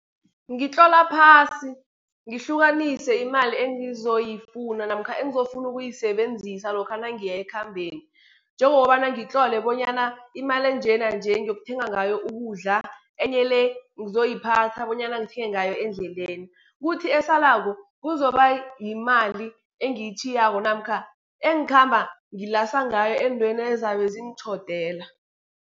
Ngitlola phasi, ngihlukanise imali engizoyifuna, namkha engizokufuna ukuyisebenzisa lokha nangiya ekhambeni, njengokobana ngitlole bonyana imali enje nanje ngiyokuthenga ngayo ukudla enye le, ngizoyiphatha bonyana ngithenge ngayo endleleni. Kuthi esalako, kuzokuba yimali engiyitjhiyako namkha engikhamba ngilasa ngayo ezintweni ezizabe zingitjhodela.